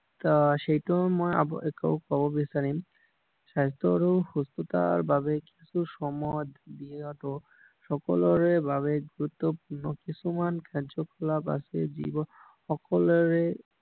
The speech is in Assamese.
সেইটো মই কব বিচাৰিম স্বাস্থ্য আৰু সুস্থতাৰ বাবে কিছু সময় দিয়াটো সকলোৰে বাবে গুৰুত্বপূৰ্ণ কিছুমান কাৰ্য্য কলাপ আছে যিবোৰ সকলোৰ বাবে